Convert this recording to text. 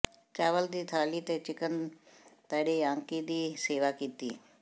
ਚਾਵਲ ਦੀ ਥਾਲੀ ਤੇ ਚਿਕਨ ਤਾਰੀਆਂਕੀ ਦੀ ਸੇਵਾ ਕੀਤੀ